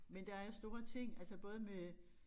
Men der er jo store ting altså både med